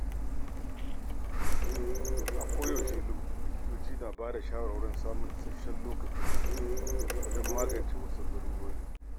A koda yaushe likitoci na bada shawarwarin samun isasshen lokacin hutu wajen magance wasu larurori.